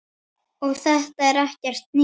Og þetta er ekkert nýtt.